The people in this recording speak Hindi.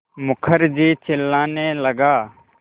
मुखर्जी चिल्लाने लगा